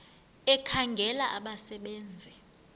ekhangela abasebe nzi